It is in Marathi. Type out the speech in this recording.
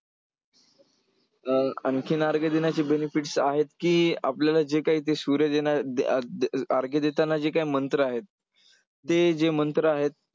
अं आणखीन अर्घ्य देण्याचे benefits आहेत की आपल्याला जे काय ते सूर्य अर्घ्य देताना जे काय मंत्र आहेत, ते जे मंत्र आहेत,